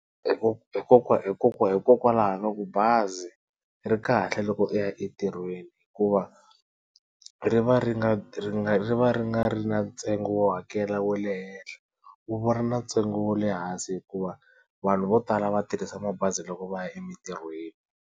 hikokwalaho ka ku bazi ri kahle loko u ya entirhweni hikuva ri va ri nga ri nga ri na ntsengo wo hakela wa le henhla wu va wu ri na ntsengo wa le hansi hikuva vanhu vo tala va tirhisa mabazi loko va ya emitirhweni.